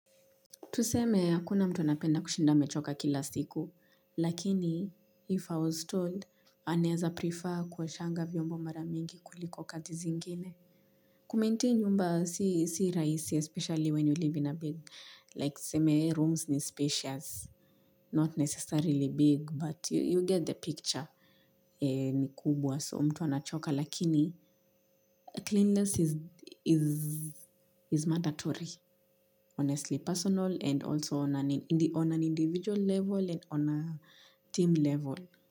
Tuseme hakuna mtu anapenda kushinda amechoka kila siku, lakini if I was told, anaeza prefer kuoshanga vyombo mara mingi kuliko kazi zingine. Kumaintain nyumba si rahisi, especially when you live in a big, like tuseme rooms ni spacious, not necessarily big, but you get the picture ni kubwa. So mtu anachoka lakini cleanliness is mandatory honestly personal and also on an individual level and on a team level.